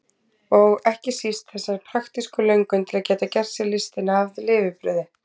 Og ekki síst þessa praktísku löngun til að geta gert sér listina að lifibrauði.